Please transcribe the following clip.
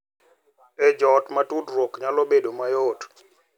E joot ma tudruok nyalo bedo mayot,